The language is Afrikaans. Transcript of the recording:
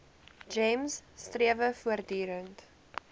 gems strewe voortdurend